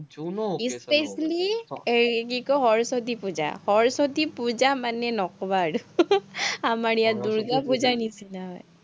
জুনু এৰ কি কয়, সৰস্বতী পুজা, সৰস্বতী পুজা মানে নকবা আৰু আমাৰ ইয়াত দূৰ্গাপুজা নিচিনা হয়।